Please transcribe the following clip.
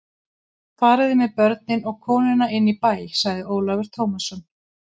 Fariði með börnin og konuna inn í bæ, sagði Ólafur Tómasson.